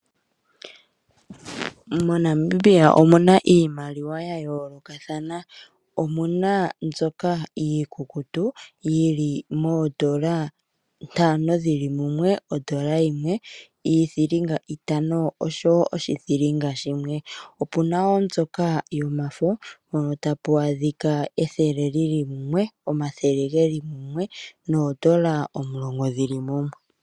Monamibia omuna iimaliwa ya yoolokathana. Omuna mbyoka iikukutu yi li moondola nanto dhili mumwe, ondola yimwe, iithilinga itano osho woo oshithilinga shimwe. Opuna woo mbyoka yomafo, mono tapu adhika ethele lyili mumwe, omathele gaali geli mumwe, noondola omulongo dhili mumwe.